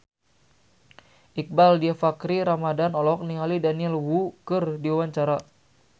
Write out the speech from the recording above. Iqbaal Dhiafakhri Ramadhan olohok ningali Daniel Wu keur diwawancara